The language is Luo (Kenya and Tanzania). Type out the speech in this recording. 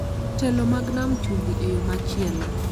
Jotelo mag Nam Chumbi, e yo machielo,